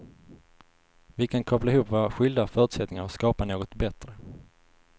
Vi kan koppla ihop våra skilda förutsättningar och skapa något bättre.